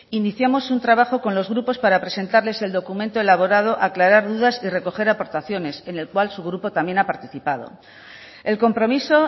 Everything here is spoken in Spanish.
iniciamos un trabajo con los grupos para presentarles el documento elaborado aclarar dudas y recoger aportaciones en el cual su grupo también ha participado el compromiso